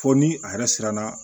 Fo ni a yɛrɛ siranna